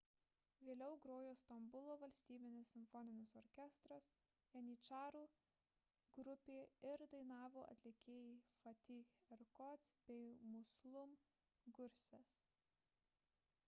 vėliau grojo stambulo valstybinis simfoninis orkestras janyčarų grupė ir dainavo atlikėjai fatih erkoç bei müslüm gürses